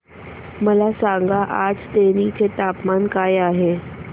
मला सांगा आज तेनी चे तापमान काय आहे